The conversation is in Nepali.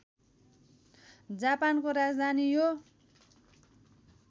जापानको राजधानी यो